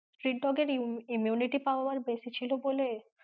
Street dog এর imm~immunity power বেশি ছিল বলে,